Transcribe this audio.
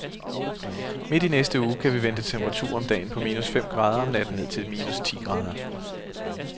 Midt i næste uge kan vi vente temperaturer om dagen på minus fem grader og om natten ned til ti minus grader.